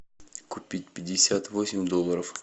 купить пятьдесят восемь долларов